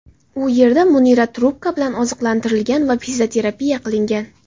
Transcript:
U yerda Munira trubka bilan oziqlantirilgan va fizioterapiya qilingan.